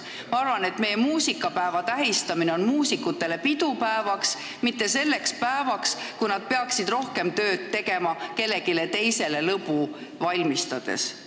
Ma arvan, et muusikapäeva tähistamine on meie muusikutele pidupäev, mitte selline päev, kui nad peaksid rohkem tööd tegema kellelegi teisele lõbu valmistades.